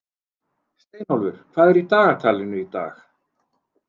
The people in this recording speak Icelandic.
Steinólfur, hvað er í dagatalinu í dag?